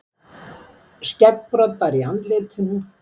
Skeggbroddar í andlitinu.